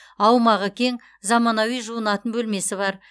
аумағы кең заманауи жуынатын бөлмесі бар